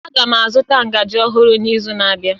Aga m azụta ngaji ọhụrụ n'izu na-abịa